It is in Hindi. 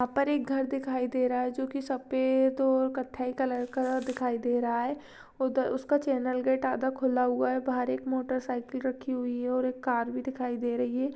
यहाँ पर एक घर दिखाई दे रहा हैं जो की सफ़ेद और कत्थई कलर का दिखाई दे रहा हैं और उसका चॅनेल-गेट आधा खुला हुआ हैं बहार एक मोटरसाइकिल रखी हुई हैं और एक कार भी दिखाई दे रहीं हैं।